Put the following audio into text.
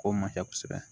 K'o ma kɛ kosɛbɛ